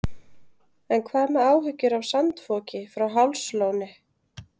En hvað með áhyggjur af sandfoki frá Hálslóni?